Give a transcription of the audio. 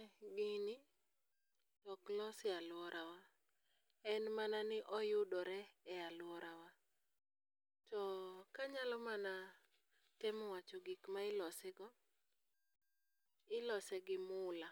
Ee gini, to ok los e alworawa, en mana ni oyudore e alworawa. To kanyalo mana temo wacho gik ma ilose go, ilose gi mula,